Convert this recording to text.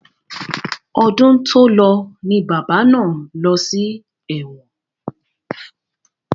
Ọdún tòlọ ni bàbá náà lọ sí ẹ̀wọ̀n.